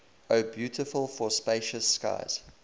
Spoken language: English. o beautiful for spacious skies